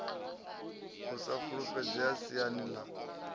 u sa fulufhedzea siani ḽa